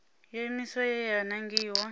yo iimisaho ye ya nangiwa